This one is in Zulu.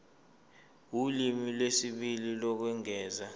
ulimi lwesibili lokwengeza